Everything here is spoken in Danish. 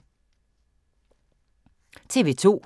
TV 2